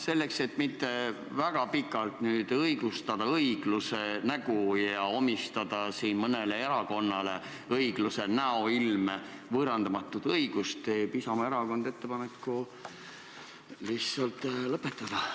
Selleks, et mitte väga pikalt nüüd õigustada õigluse nägu ja omistada siin mõnele erakonnale õigluse näoilme võõrandamatut õigust, teeb Isamaa Erakond ettepaneku lihtsalt lõpetada.